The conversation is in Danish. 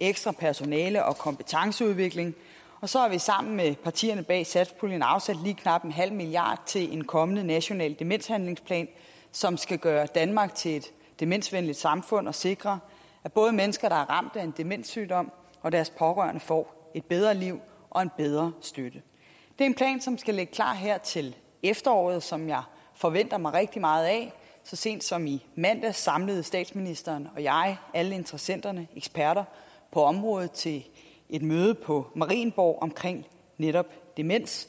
ekstra personale og kompetenceudvikling så har vi sammen med partierne bag satspuljeaftalen afsat lige knap en halv milliard kroner til en kommende national demenshandlingsplan som skal gøre danmark til et demensvenligt samfund og sikre at både mennesker der er ramt af en demenssygdom og deres pårørende får et bedre liv og en bedre støtte det er en plan som skal ligge klar her til efteråret og som jeg forventer mig rigtig meget af så sent som i mandags samlede statsministeren alle interessenter og eksperter på området til et møde på marienborg om netop demens